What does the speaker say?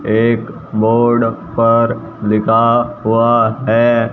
एक बोर्ड पर लिखा हुआ है--